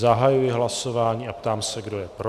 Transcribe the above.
Zahajuji hlasování a ptám se, kdo je pro.